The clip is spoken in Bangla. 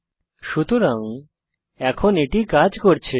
সুতরাং এখন এটি কাজ করছে